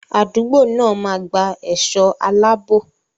Àdúgbò náà máa gba ẹ̀ṣọ́ aláàbò.